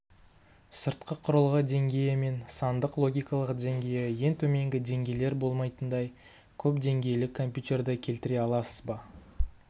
сыртқы құрылғы деңгейі мен сандық логикалық деңгейі ең төменгі деңгейлер болмайтындай көпдеңгейлі компьютерді келтіре аласыз ба